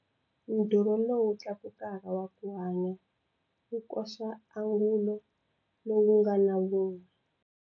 Ndhurho lowu tlakuka waku hanya wu koxa angulo lowu nga na vun'we.